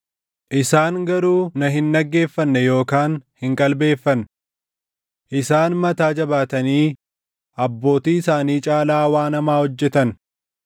Isaan garuu na hin dhaggeeffanne yookaan hin qalbeeffanne. Isaan mataa jabaatanii abbootii isaanii caalaa waan hamaa hojjetan.’